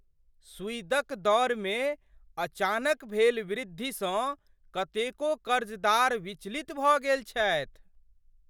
सुईद क दरमे अचानक भेल वृद्धिसँ कतेको कर्जदार विचलित भऽ गेल छथि।